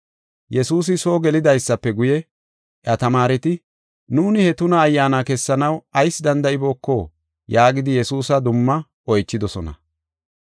Yesuusi soo gelidaysafe guye, iya tamaareti, “Nuuni he tuna ayyaana kessanaw ayis danda7ibooko?” yaagidi Yesuusa dumma oychidosona.